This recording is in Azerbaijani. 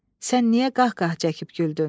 Sən niyə qah-qah çəkib güldün?